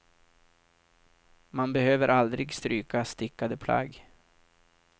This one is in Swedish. Man behöver aldrig stryka stickade plagg.